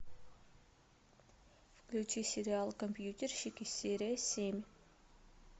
включи сериал компьютерщики серия семь